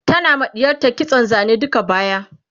tana ma ɗiyarta kitson Zane duka baya